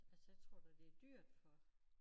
Altså jeg tror da det dyrt for